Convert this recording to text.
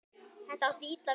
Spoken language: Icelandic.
Þetta átti illa við